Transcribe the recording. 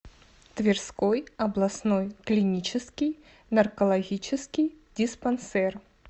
тверской областной клинический наркологический диспансер